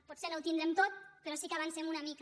pot·ser no ho tindrem tot però sí que avancem una mica